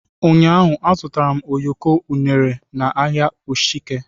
ụnyahụ m zụtara ụyọkọ unere na ahịa ishieke.